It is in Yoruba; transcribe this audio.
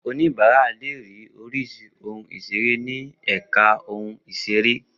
Oníbàárà le ri oríṣi oun ìṣeré ni èka oun ìṣeré